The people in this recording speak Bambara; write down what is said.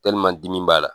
dimi b'a la